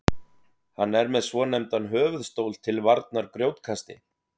hann er með svonefndan höfuðstól til varnar grjótkasti